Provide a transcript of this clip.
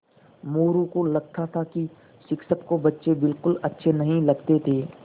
मोरू को लगता था कि शिक्षक को बच्चे बिलकुल अच्छे नहीं लगते थे